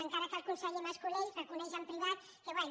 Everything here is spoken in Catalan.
encara que el conseller mas colell reconeix en privat que bé